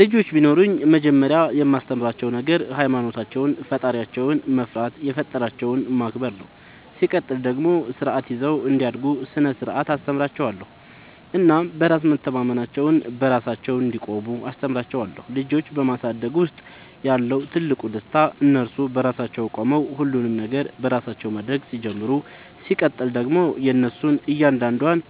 ልጆች ቢኖሩኝ መጀመሪያ የማስተምራቸዉ ነገር ሃይማኖታቸውን ፈጣሪያቸውን መፍራት የፈጠራቸውን ማክበር ነው ሲቀጥል ደግሞ ስርዓት ይዘው እንዲያድጉ ስነ ስርዓት አስተምራችኋለሁ እናም በራስ መተማመናቸውን, በራሳቸው እንዲቆሙ አስተምራቸዋለሁ። ልጆች በማሳደግ ውስጥ ያለው ትልቁ ደስታ እነሱ በራሳቸው ቆመው ሁሉንም ነገር በራሳቸው ማድረግ ሲጀምሩ ሲቀጥል ደግሞ የእነሱን እያንዳንዷን